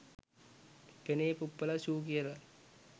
පෙනේ පුප්පලා ෂූ කියලා